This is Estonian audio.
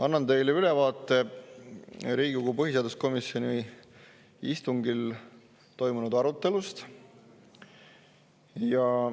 Annan teile ülevaate Riigikogu põhiseaduskomisjoni istungil toimunud arutelust.